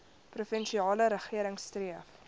provinsiale regering streef